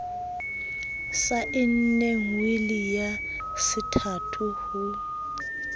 saenneng wili ya sethato ha